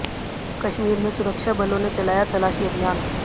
कश्मीर में सुरक्षा बलों ने चलाया तलाशी अभियान